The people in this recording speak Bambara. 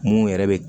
Mun yɛrɛ bɛ